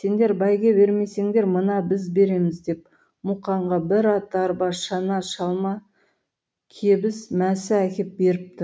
сендер бәйге бермесеңдер мына біз береміз деп мұқанға бір ат арба шана шалма кебіс мәсі әкеп беріпті